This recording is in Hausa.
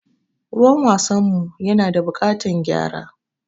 Ruwan wasan mu ya na da buƙatan gyara.